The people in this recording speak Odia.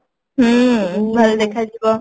ହୁଁ ଭଲ ଦେଖା ଯିବ